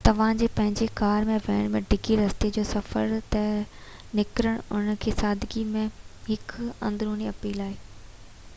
توهان جي پنهنجي ڪار ۾ ويهڻ ۽ ڊگهي رستي جي سفر تي نڪرڻ ان جي سادگي ۾ هڪ اندروني اپيل آهي